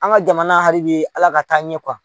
An ka jamana haribi Ala k'a taa ɲɛ